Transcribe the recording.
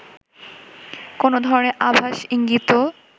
কোনো ধরনের আভাস ইঙ্গিতও